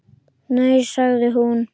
Nei sagði hún.